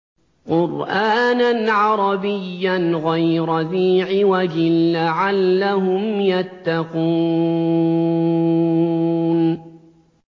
قُرْآنًا عَرَبِيًّا غَيْرَ ذِي عِوَجٍ لَّعَلَّهُمْ يَتَّقُونَ